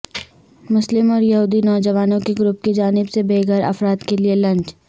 مسلم اور یہودی نوجوانوں کے گروپ کی جانب سے بے گھر افراد کیلئے لنچ